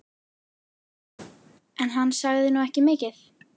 En hann sagði nú ekki mikið.